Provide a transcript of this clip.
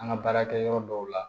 An ka baarakɛ yɔrɔ dɔw la